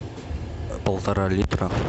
полтора литра